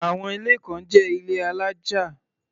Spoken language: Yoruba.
Àwọn ilé kan jẹ́ ilé alájà.